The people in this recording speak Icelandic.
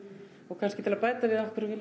kannski til að bæta við af hverju við